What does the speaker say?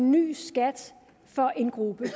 en ny skat for en gruppe det